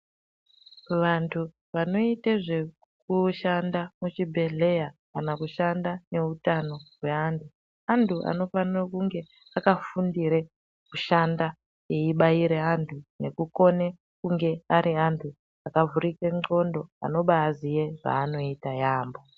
Vantu vanoite zvekushanda muchibhehleya kana kushanda neutano hweanhu antu anofana kunge akafundire kufanda eibaire antu nekukone kunge ari antu akavhurike ndxondo anobaziye zvanoita yambo.